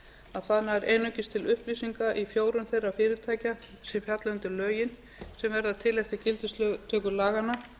að það nær einungis til upplýsinga í fjórum þeirra fyrirtækja sem falla undir lögin sem verða til eftir gildistöku laganna